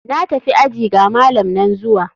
Na tafi aji, ga malam nan zuwa.